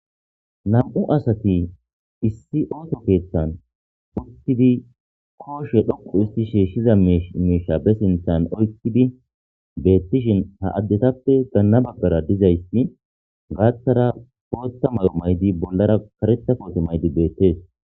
Nam'u asati issi oso kethan uttidi oso gelidi shishida mishe be kisen oyqidi betishin ha asatape bolla bagaranne gathara botha mayo mayidi bollara karetha kote mayidaysi betes